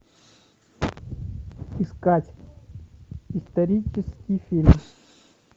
искать исторический фильм